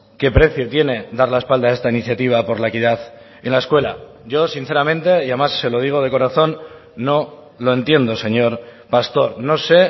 qué precio tiene dar la espalda a esta iniciativa por la equidad en la escuela yo sinceramente y además se lo digo de corazón no lo entiendo señor pastor no sé